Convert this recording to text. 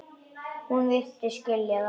Hún virtist skilja það.